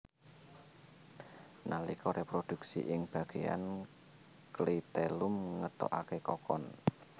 Nalika réprodhuksi ing bagéyan klitellum ngetokaké kokon